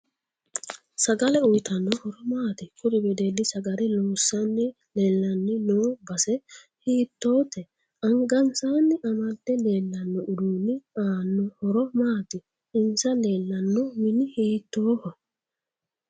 Sagale uyiitanno horo maati kuri wedelli sagale loosanni leelanni noo base hiitoote angaasanni amade leelanno uduuni aano horo maati insa leelanno mini hiitooho